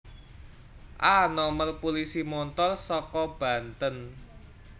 A nomer pulisi montor saka Banten